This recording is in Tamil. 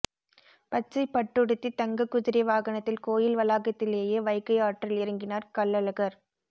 பச்சை பட்டுடுத்தி தங்க குதிரை வாகனத்தில் கோயில் வளாகத்திலேயே வைகை ஆற்றில் இறங்கினார் கள்ளழகர்